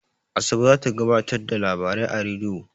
Asabe za ta gabatar da labarai a rediyo.